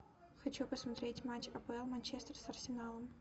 хочу посмотреть матч апл манчестер с арсеналом